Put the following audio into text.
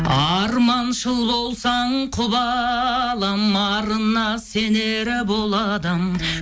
арманшыл болсаң құп алам арына сенер бұл адам